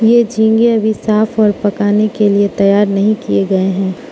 ये झींगे अभी साफ और पकाने के लिए तैयार नहीं किए गए हैं।